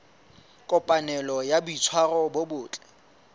kopanelo ya boitshwaro bo botle